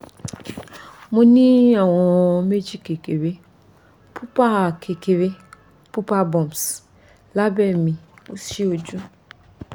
mo ni awọn meeji kekere pupa kekere pupa bumps labẹ mi osi oju